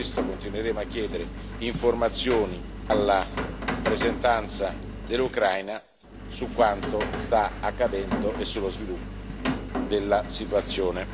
Per questo continueremo a chiedere informazioni alla rappresentanza dell'Ucraina su quanto sta accadendo e sull'evoluzione della situazione.